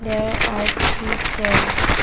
there are three stairs.